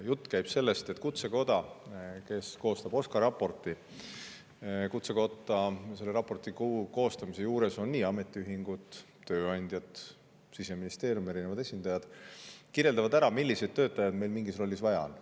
Jutt käib sellest, et Kutsekoda, kes koostab OSKA raportit – selle raporti koostamise juures on ametiühingud, tööandjad, Siseministeerium, erinevad esindajad –, kirjeldab, milliseid töötajaid meil mingis rollis vaja on.